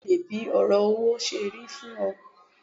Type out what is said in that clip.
Bẹ́ẹ̀ni mo leè bí òrò owó serí fún o